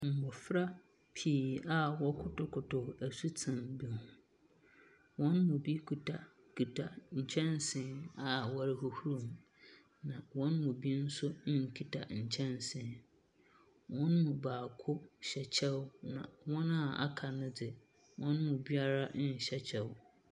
Mbofra pii a wɔkotokotw asutsen bi ho. Hɔn mu bi kitakita nkyɛnsee a wɔrohohorow mu, na hɔn mu binso nkita nkyɛnsee. Hɔn mu baako hyɛ kyɛw, na hɔn a wɔaka no dez. Hɔn mu biara nhyɛ kyɛw.